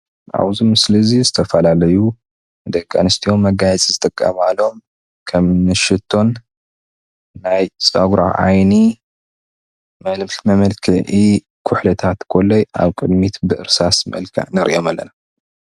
ኣብዚ ምስሊ እዚ ዝተፈላለዩ ደቂ ኣንስትዮ ንመጋየፂ ዝጥቀማሎም ከምኒ ሽቶን ናይ ፀጉሪ ዓይኒ መመልክዒ ኩሕልታት ኮለይ ኣብ ቅድሚት ብእርሳስ መልክዕ ንሪኦም ኣለና፡፡